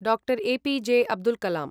डा.. ऎ.पि.जॆ. अब्दुल् कलां